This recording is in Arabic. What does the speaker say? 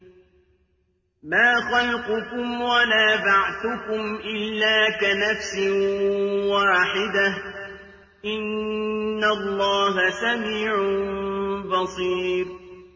مَّا خَلْقُكُمْ وَلَا بَعْثُكُمْ إِلَّا كَنَفْسٍ وَاحِدَةٍ ۗ إِنَّ اللَّهَ سَمِيعٌ بَصِيرٌ